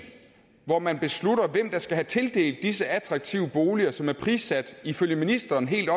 hvor man beslutter hvem der skal have tildelt disse attraktive boliger som er prissat ifølge ministeren helt